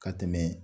Ka tɛmɛ